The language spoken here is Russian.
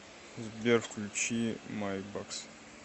сбер включи майбакс